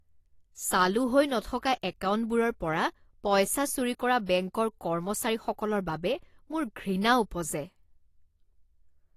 চালু হৈ নথকা একাউণ্টবোৰৰ পৰা পইচা চুৰি কৰা বেংকৰ কৰ্মচাৰীসকলৰ বাবে মোৰ ঘৃণা উপজে।